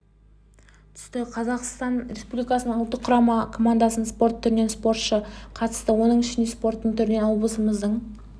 түсті қазақстан республикасының ұлттық құрама командасынан спорт түрінен спортшы қатысты оның ішінде спорттың түрінен облысымыздың